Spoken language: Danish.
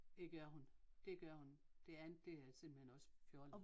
Det gør hun det gør hun det andet det er simpelthen også fjollet